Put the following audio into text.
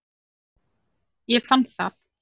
Ég fann það.